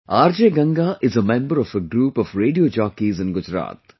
RJ Ganga is a member of a group of Radio Jockeys in Gujarat